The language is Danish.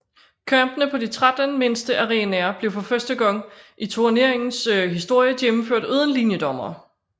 Kampene på de 13 mindste arenaer blev for første gang i turneringens historie gennemført uden linjedommere